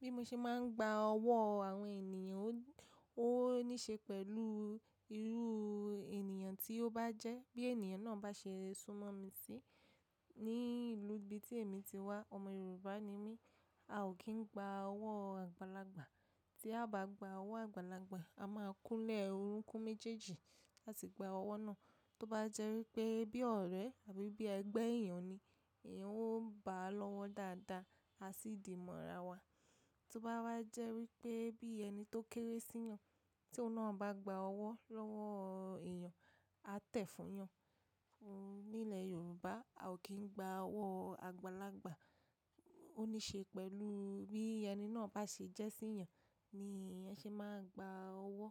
Bí mo ṣe máa ń gba ọwọ́ àwọn ènìyàn, ó níṣe pẹ̀lú irú ènìyàn tí ó bá jẹ́, bí ènìyàn náà bá ṣe súnmọ́ mi sí. Ní ìlú ibi tí èmi ti wá, ọmọ Yorùbá ni mí, a ò kí ń gba ọwọ́ àgbàlagbà. Tí a bá gba ọwọ́ àgbàlagbà, a máa kúnlẹ̀ orúnkún méjèèjì láti gba ọwọ́ náà. Tó bá jẹ́ wípé bí ọ̀rẹ́ àbí bí ẹgbẹ́ èèyàn ni, ẹ̀yan ó bá a lọ́wọ́ dáadáa, a sì di maara wa. Tó bá wá jẹ́ wípé bí ẹni tó kéré sí yàn, tí ọ̀un na bá gba ọwọ́ lọ́wọ́ èèyàn, a tẹ̀ fún yàn. Nílẹ̀ Yorùbá, a ò kí ń gba ọwọ́ àgbàlagbà. Ó níṣe pẹ̀lú bí ẹni náà bá ṣe jẹ́ sí yàn ni èèyàn ṣe máa gba ọwọ́.